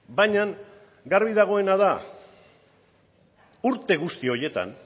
baina garbi dagoena da urte guzti horietan